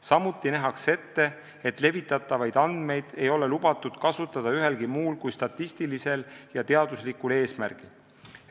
Samuti nähakse ette, et levitatavaid andmeid ei ole lubatud kasutada ühelgi muul kui statistilisel ja teaduslikul eesmärgil.